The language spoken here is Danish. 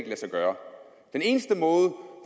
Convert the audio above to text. lade sig gøre den eneste måde